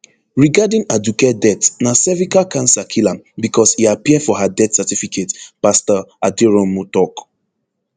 regarding aduke death na cervical cancer kill am becos e appear for her death certificate pastor aderounmu tok